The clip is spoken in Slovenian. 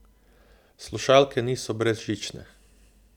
Slušalke niso brezžične.